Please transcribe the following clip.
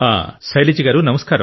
నమస్కారం సార్